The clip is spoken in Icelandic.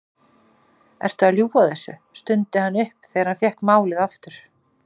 Ertu að ljúga þessu? stundi hann upp þegar hann fékk málið aftur.